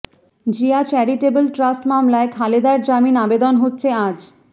Zia charitable trust মামলায় খালেদার জামিন আবেদন হচ্ছে আজ